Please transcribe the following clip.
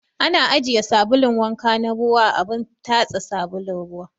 Ana ajiye sabulun wanka na ruwa a abun tatsa sabulun ruwa